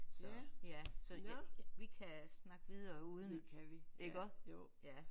Så ja så ja vi kan snakke videre uden iggå ja